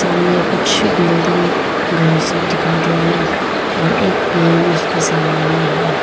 सामने कुछ बिल्डिंग घर सब दिखाई दे रहे हैं और एक पेड़ भी उसके सामने में है।